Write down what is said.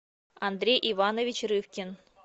андрей иванович рывкин